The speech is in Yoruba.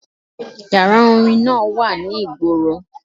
Yàrá orin náà wà ní ìgboro.